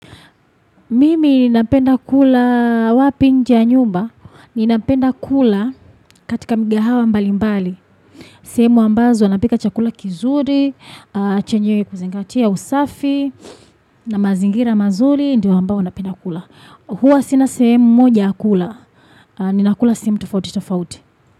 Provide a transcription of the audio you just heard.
Mimi napenda kula wapi nje ya nyumba. Ninapenda kula katika mikahawa mbalimbali. Sehemu ambazo wanapika chakula kizuri, chenye kuzingatia usafi na mazingira mazuri. Ndiyo ambao napenda kula. Huwa sina sehemu moja ya kula. Ninakula sehemu tofauti tofauti.